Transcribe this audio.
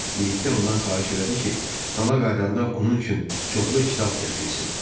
Birlikdə ondan xahiş elədi ki, dala qayıdanda onun üçün çoxlu kitab gətirsin.